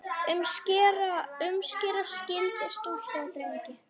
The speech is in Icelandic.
Umskera skyldi stúlkur og drengi.